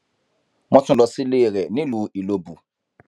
wọn tún lọ sílé rẹ nílùú ìlọbù